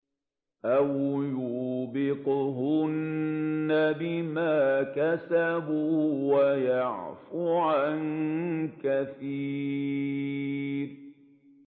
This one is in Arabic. أَوْ يُوبِقْهُنَّ بِمَا كَسَبُوا وَيَعْفُ عَن كَثِيرٍ